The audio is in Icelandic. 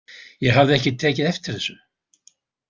Ég hafði ekki tekið eftir þessu.